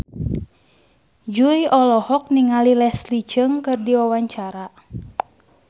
Jui olohok ningali Leslie Cheung keur diwawancara